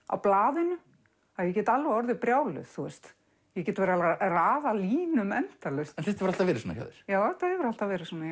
á blaðinu að ég get alveg orðið brjáluð ég get verið að raða línum endalaust en þetta hefur alltaf verið svona hjá þér já þetta hefur alltaf verið svona